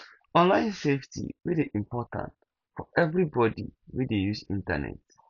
online safety dey dey important for everybody wey dey use internet